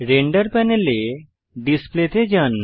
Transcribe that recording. render প্যানেলে display তে যান